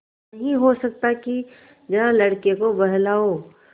नहीं हो सकता कि जरा लड़के को बहलाओ